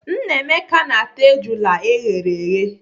Nnameka na-ata ejula eghere eghe.